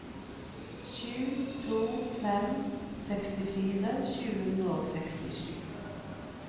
sju sju to fem sekstifire sju hundre og sekstisju